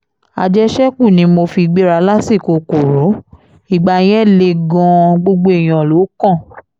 àjẹṣẹ́kù ni mo fi gbéra lásìkò koro ìgbà yẹn le gan-an gbogbo èèyàn ló kàn